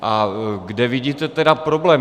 A kde vidíte tedy problém?